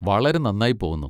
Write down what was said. വളരെ നന്നായി പോകുന്നു.